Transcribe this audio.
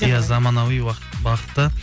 иә заманауи бағытта